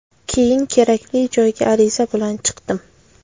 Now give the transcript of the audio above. Keyin kerakli joyga ariza bilan chiqdim.